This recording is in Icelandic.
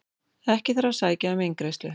Ekki þarf að sækja um eingreiðslu